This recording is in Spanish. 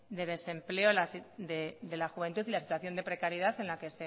de desempleo de la juventud y la situación de precariedad